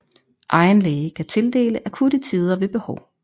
Egen læge kan tildele akutte tider ved behov